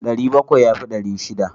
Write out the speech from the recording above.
Ɗari bakwai ya fi ɗari shida.